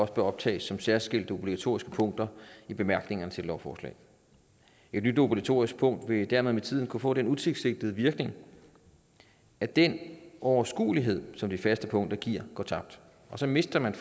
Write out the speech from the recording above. skal optages som særskilte obligatoriske punkter i bemærkningerne til et lovforslag et nyt obligatorisk punkt vil dermed med tiden kunne få den utilsigtede virkning at den overskuelighed som de faste punkter giver går tabt og så mister man